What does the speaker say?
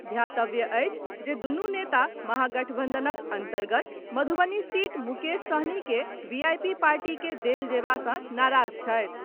ध्यातव्य अछि जे दूनु नेता महागठबंधनक अंतर्गत मधुबनी सीट मुकेश सहनी के वीआईपी पार्टी के देल जएबा से नाराज छथि।